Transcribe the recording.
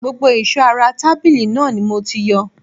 Gbogbo ìṣó ara tàbílu náà ni mo ti yọ